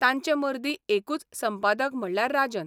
तांचे मर्दी एकूच संपादक म्हणल्यार राजन.